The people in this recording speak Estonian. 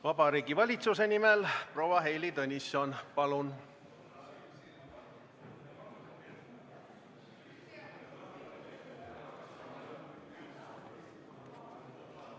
Vabariigi Valitsuse nimel proua Heili Tõnisson, palun!